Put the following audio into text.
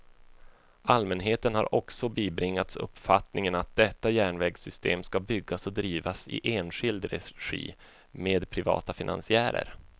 Allmänheten har också bibringats uppfattningen att detta järnvägssystem skall byggas och drivas i enskild regi, med privata finansiärer.